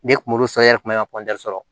Ne kun b'olu sɔn e yɛrɛ kun bɛ ka sɔrɔ